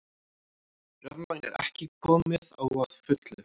Rafmagn ekki komið á að fullu